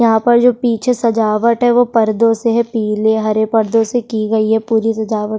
यहाँ पर जो पीछे सजावट है वो पर्दों से है पीले हरे पर्दों से की गई है पूरी सजावट --